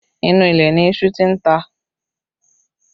Inú ilẹ̀ ni iṣu tí ń ta